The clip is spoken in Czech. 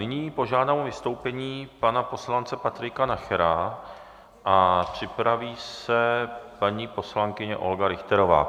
Nyní požádám o vystoupení pana poslance Patrika Nachera a připraví se paní poslankyně Olga Richterová.